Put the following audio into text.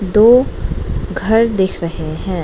दो घर दिख रहे है।